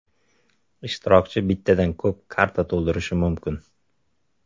Ishtirokchi bittadan ko‘p karta to‘ldirishi mumkin.